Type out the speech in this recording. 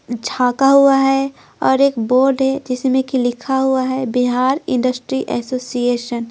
झांका हुआ है और एक बोर्ड है जिसमें कि लिखा हुआ हैबिहार इंडस्ट्री एसोसिएशन--